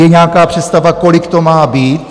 Je nějaká představa, kolik to má být?